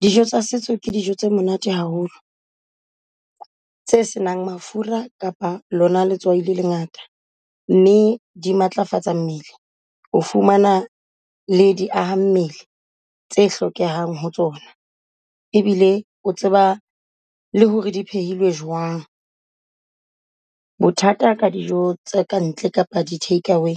Dijo tsa setso ke dijo tse monate haholo tse senang mafura kapa lona letswai le le ngata mme di matlafatsa mmele, o fumana le di hahammele tse hlokehang ho tsona. E bile o tseba le hore di jwang. Bothata ka dijo tse kantle kapa di-take-away